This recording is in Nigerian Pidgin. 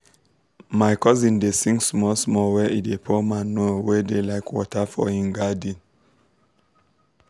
my cousin dey sing small small when e dey pour manure wey da like water for him garden